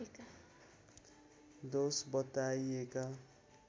दोष बताइएका